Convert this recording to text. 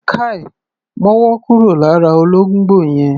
Káì! Mọ́wọ́ kúrò lára olóngbò yẹn!